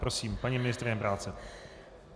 Prosím, paní ministryně práce.